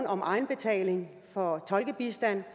om egenbetaling for tolkebistand